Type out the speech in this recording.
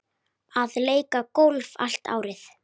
Að leika golf allt árið.